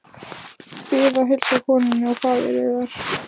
Bið að heilsa konunni og faðir yðar.